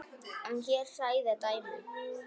En hér hræða dæmin.